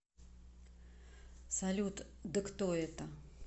салют да кто это